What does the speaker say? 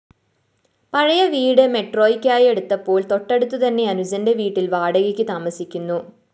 പഴയ വീട് മെട്രോയ്ക്കായെടുത്തപ്പോള്‍ തൊട്ടടുത്തുതന്നെ അനുജന്റെ വീട്ടില്‍ വാടകയ്ക്കു താമസിക്കുന്നു